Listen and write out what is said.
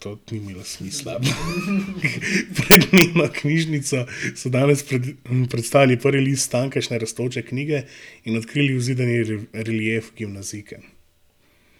Pred njeno knjižnico so danes predstavili prvi list tamkajšnje rastoče knjige in odkrili vzidani relief Gimnazijke.